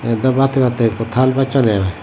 yot dow baat hebatyey ekko taal bacche degonge.